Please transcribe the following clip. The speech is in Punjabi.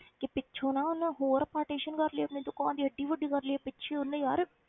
ਕਿ ਪਿੱਛੋਂ ਨਾ ਉਹਨੇ ਹੋਰ partition ਕਰ ਲਈ ਆਪਣੀ ਦੁਕਾਨ ਦੀ ਇੱਡੀ ਵੱਡੀ ਕਰ ਲਈ ਹੈ ਪਿੱਛੇ ਉਹਨੇ ਯਾਰ